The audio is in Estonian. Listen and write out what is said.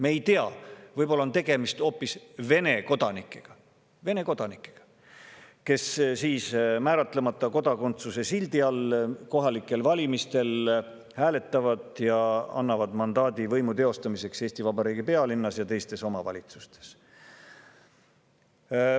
Me ei tea, võib-olla on tegemist hoopis Vene kodanikega, kes siis määratlemata kodakondsuse sildi all kohalikel valimistel hääletavad ja annavad mandaadi võimu teostamiseks Eesti Vabariigi pealinnas ja teistes omavalitsustes.